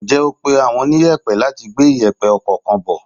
Ǹjẹ́ o pé àwọn oniyepe láti gbé iyepe ọkọ̀ kan bò?